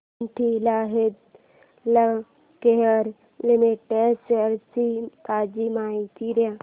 Cadila healthcare limited shares ची ताजी माहिती दे